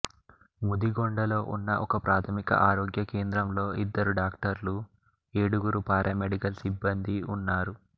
ముదిగొండలో ఉన్న ఒకప్రాథమిక ఆరోగ్య కేంద్రంలో ఇద్దరు డాక్టర్లు ఏడుగురు పారామెడికల్ సిబ్బందీ ఉన్నారు